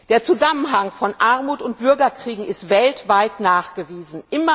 Der Zusammenhang von Armut und Bürgerkriegen ist weltweit nachgewiesen.